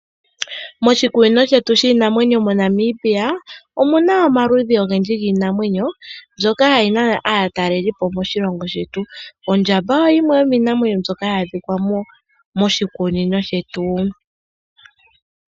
Moshikunino shetu shiinamwenyo moNamibia omu na omaludhi ogendji giinamwenyo mbyoka hayi nana aatalelipo moshilongo shetu. Ondjamba oyo yimwe yomiinamwenyo mbyoka hayi adhika moshikunino shetu.